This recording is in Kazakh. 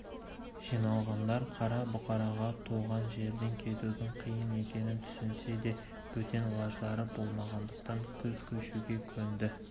жиналғандар қара бұқараға туған жерден кетудің қиын екенін түсінсе де бөтен лаждары болмағандықтан күз көшуге көнді